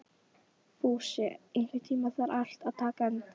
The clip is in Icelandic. Fúsi, einhvern tímann þarf allt að taka enda.